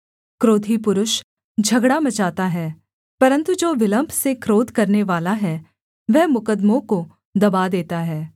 क्रोधी पुरुष झगड़ा मचाता है परन्तु जो विलम्ब से क्रोध करनेवाला है वह मुकद्दमों को दबा देता है